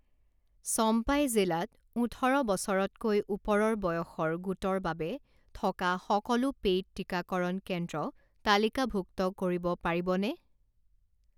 চম্পাই জিলাত ওঠৰ বছৰতকৈ ওপৰৰ বয়সৰ গোটৰ বাবে থকা সকলো পেইড টিকাকৰণ কেন্দ্ৰ তালিকাভুক্ত কৰিব পাৰিবনে?